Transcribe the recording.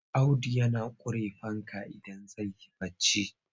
Audu yana ƙure fanka idan zai yi barci.